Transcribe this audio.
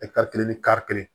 kelen ni kari kelen